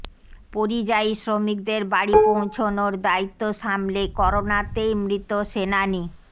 পরিযায়ী শ্রমিকদের বাড়ি পৌঁছনোর দায়িত্ব সামলে করোনাতেই মৃত সেনানী